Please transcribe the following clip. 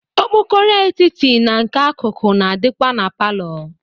Okpokoro etiti na nke akụkụ na-adịkwa na palọ.